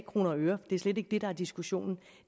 kroner og øre det er slet ikke det der er diskussionen